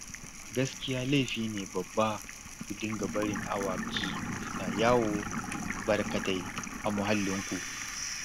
Gaskiya laifi ne babba ku dinga barin awaki suna yawo barkatai a muhallinku